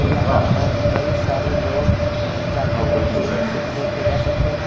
यहां पर कई सारे लोग जाते हुए देख स देखे जा सकते हैं।